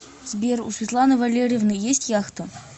сбер у светланы валерьевны есть яхта